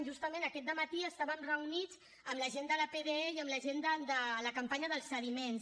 justament aquest dematí estàvem reunits amb la gent de la pde i amb la gent de la campanya pels sediments